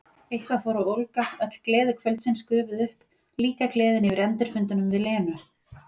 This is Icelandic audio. Eitthvað fór að ólga, öll gleði kvöldsins gufuð upp, líka gleðin yfir endurfundunum við Lenu.